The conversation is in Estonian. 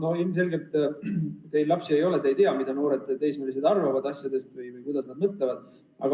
On ilmselge, et kuna teil endal lapsi ei ole, siis te ei tea, mida noored, teismelised asjadest arvavad või kuidas nad mõtlevad.